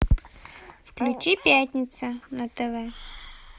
включи пятница на тв